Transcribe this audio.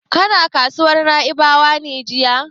Kana kasuwar Na'ibawa ne jiya?